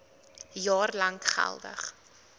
jaar lank geldig